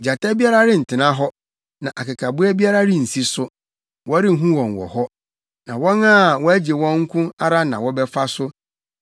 Gyata biara rentena hɔ, na akekaboa biara rensi so; wɔrenhu wɔn wɔ hɔ. Na wɔn a wɔagye wɔn nko ara na wɔbɛfa so,